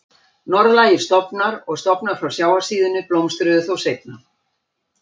Norðlægir stofnar og stofnar frá sjávarsíðunni blómstruðu þó seinna.